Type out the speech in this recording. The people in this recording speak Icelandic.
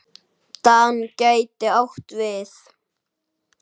DAN gæti átt við